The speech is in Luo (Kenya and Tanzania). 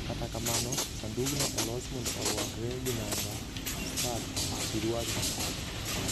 Kata kamano, sandugno olos mondo orwakre gi nanga, skat, siruaru